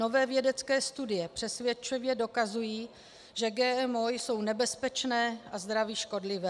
Nové vědecké studie přesvědčivě dokazují, že GMO jsou nebezpečné a zdraví škodlivé.